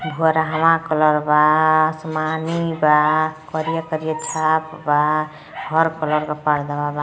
बुहारवा colour बा। आसमानी बा। करिया करिया छाप बा। हर कलर का पर्दावा बा।